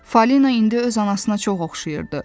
Fəlina indi öz anasına çox oxşayırdı.